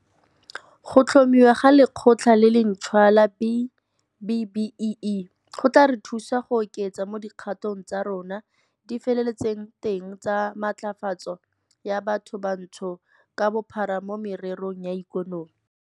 Go tlhomiwa ga Lekgotla le lentšhwa la B-BBEE go tla re thusa go oketsa mo dikgato tsa rona di feletseng teng tsa matlafatso ya bathobantsho ka bophara mo mererong ya ikonomi.